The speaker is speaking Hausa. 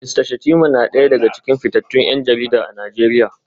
Mista Shettima na daya daga cikin fitattun 'yan jarida a Najeriya